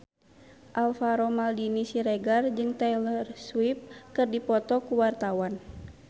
Alvaro Maldini Siregar jeung Taylor Swift keur dipoto ku wartawan